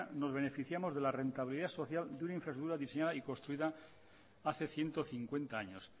nos beneficiamos de la rentabilidad social de una infraestructura diseñada y construida hace ciento cincuenta años